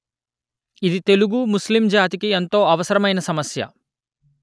ఇది తెలుగు ముస్లిం జాతికి ఎంతో అవసరమైన సమస్య